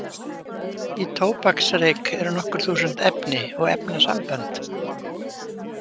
Í tóbaksreyk eru nokkur þúsund efni og efnasambönd.